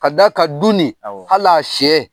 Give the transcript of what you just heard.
Ka d'a kan du ni, awɔ ,hal'a sɛ